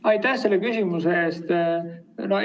Aitäh selle küsimuse eest!